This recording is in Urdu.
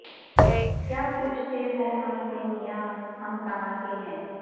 کیا پوچھتے ہو ہم سے میاں ہم کہاں کے ہیں